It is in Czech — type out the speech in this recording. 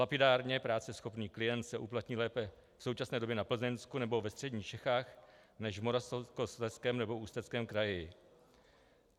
Lapidárně, práceschopný klient se uplatní lépe v současné době na Plzeňsku nebo ve středních Čechách než v Moravskoslezském nebo Ústeckém kraji.